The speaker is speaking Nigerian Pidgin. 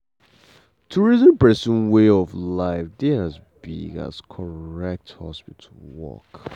to reason person way of life dey as big as correct hospital work.